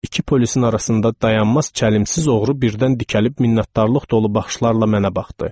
İki polisin arasında dayanmaz çəlimsiz oğru birdən dikəlib minnətdarlıq dolu baxışlarla mənə baxdı.